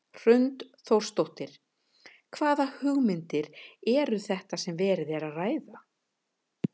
Hrund Þórsdóttir: Hvaða hugmyndir eru þetta sem verið er að ræða?